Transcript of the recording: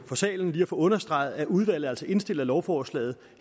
for salen lige at få understreget at udvalget altså indstiller lovforslaget